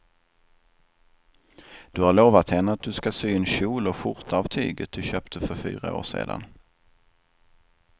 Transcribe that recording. Du har lovat henne att du ska sy en kjol och skjorta av tyget du köpte för fyra år sedan.